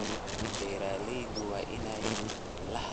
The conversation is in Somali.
Beeralayda waa inay lahaadaan khibrad suuqgeyneed.